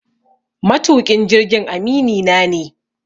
Matuƙin jirgin aminina ne.